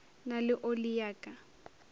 na le oli ya ka